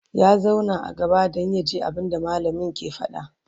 ya zauna a gaba Dan yaji abunda mallamin ke faɗa